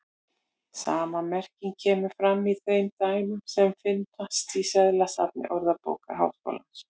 Sama merking kemur fram í þeim dæmum sem finnast í seðlasafni Orðabókar Háskólans.